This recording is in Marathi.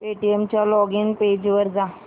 पेटीएम च्या लॉगिन पेज वर जा